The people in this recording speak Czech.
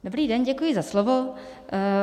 Dobrý den, děkuji za slovo.